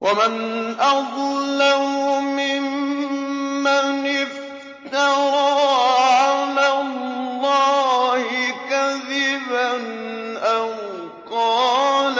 وَمَنْ أَظْلَمُ مِمَّنِ افْتَرَىٰ عَلَى اللَّهِ كَذِبًا أَوْ قَالَ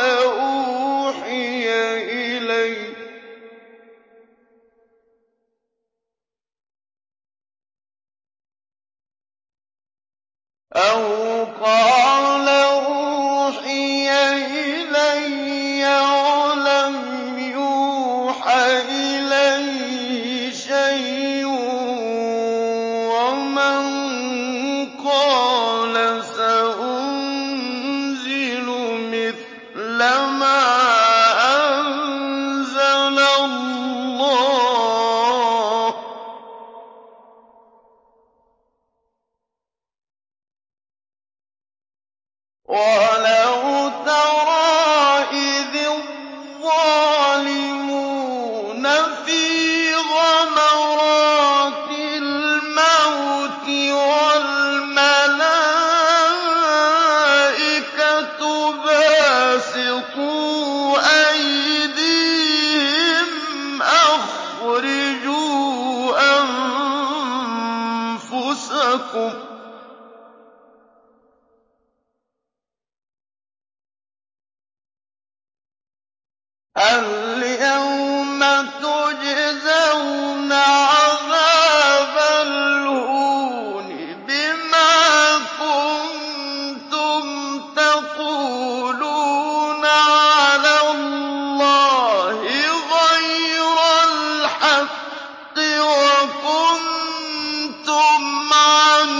أُوحِيَ إِلَيَّ وَلَمْ يُوحَ إِلَيْهِ شَيْءٌ وَمَن قَالَ سَأُنزِلُ مِثْلَ مَا أَنزَلَ اللَّهُ ۗ وَلَوْ تَرَىٰ إِذِ الظَّالِمُونَ فِي غَمَرَاتِ الْمَوْتِ وَالْمَلَائِكَةُ بَاسِطُو أَيْدِيهِمْ أَخْرِجُوا أَنفُسَكُمُ ۖ الْيَوْمَ تُجْزَوْنَ عَذَابَ الْهُونِ بِمَا كُنتُمْ تَقُولُونَ عَلَى اللَّهِ غَيْرَ الْحَقِّ وَكُنتُمْ عَنْ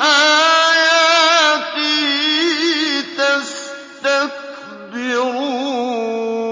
آيَاتِهِ تَسْتَكْبِرُونَ